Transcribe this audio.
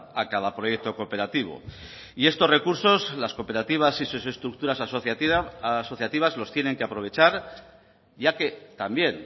a cada proyecto cooperativo y estos recursos las cooperativas y sus estructuras asociativas los tienen que aprovechar ya que también